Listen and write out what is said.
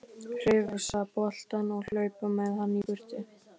Hrifsa boltann og hlaupa með hann í burtu.